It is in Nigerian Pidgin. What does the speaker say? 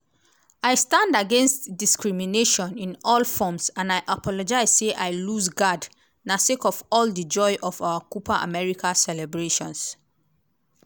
i stand against discrimination in all forms and i apologise say i lose guard na sake of all di joy of our copa america celebrations.